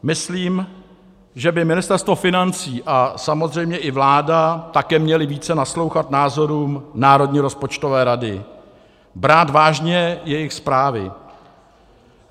Myslím, že by Ministerstvo financí a samozřejmě i vláda také měly více naslouchat názorům Národní rozpočtové rady, brát vážně jejich zprávy.